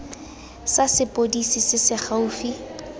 sa sepodisi se se gaufi